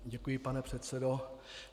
Děkuji, pane předsedo.